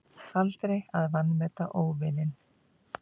Aldrei að vanmeta óvininn.